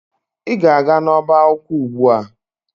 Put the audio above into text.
Ị ga-aga n'ọbá akwụkwọ ugbu a!